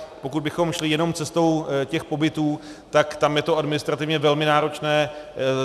Pokud bychom šli jenom cestou těch pobytů, tak tam je to administrativně velmi náročné.